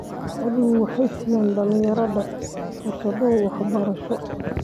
Xooluhu waxay siiyaan dhalinyarada fursado waxbarasho.